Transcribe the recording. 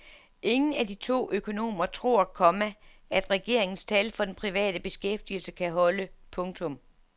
Ingen af de to økonomer tror, komma at regeringens tal for den private beskæftigelse kan holde. punktum